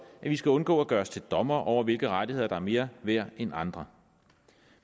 at vi skal undgå at gøre os til dommere over hvilke rettigheder der er mere værd end andre